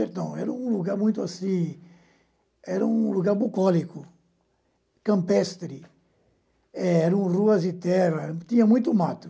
Era um lugar muito assim, era um lugar bucólico, campestre, eram ruas de terra, tinha muito mato.